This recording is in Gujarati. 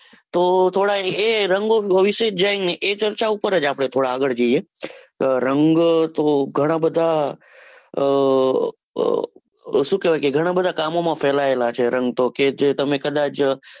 તો થોડા એ રંગો વિશે જાણીયે. એ ચર્ચા ઉપર જ આપડે થોડા આગળ જઈએ. રંગ તો ગણા બધા આહ કામો માં ફેલાયેલા છે. રંગ તો કે જે તમે કદાચ,